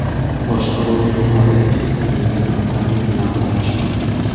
boshqaruvni yo‘qotib, ikkita yengil avtomobil bilan to‘qnashgan.